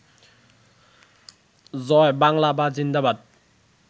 জয় বাংলা বা জিন্দাবাদ